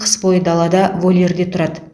қыс бойы далада вольерде тұрады